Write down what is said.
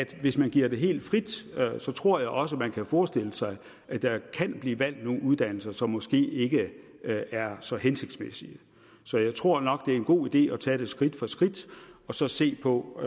hvis man giver det helt frit tror jeg også at man kan forestille sig at der kan blive valgt nogle uddannelser som måske ikke er så hensigtsmæssige så jeg tror nok det er en god idé at tage det skridt for skridt og så se på